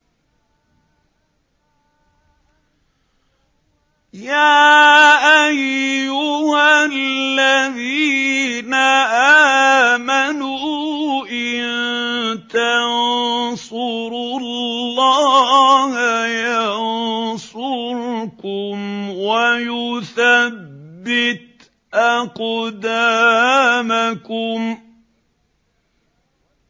يَا أَيُّهَا الَّذِينَ آمَنُوا إِن تَنصُرُوا اللَّهَ يَنصُرْكُمْ وَيُثَبِّتْ أَقْدَامَكُمْ